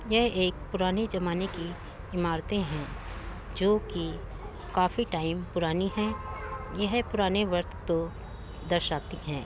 यह एक पुराने जमाने की इमारते है जोकि काफी टाइम पुरानी है। यह पुराने वक्त को दर्शाती हैं।